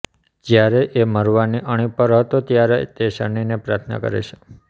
જયારે એ મરવાની અણી પર હતો ત્યારે તે શનિને પ્રાર્થના કરે છે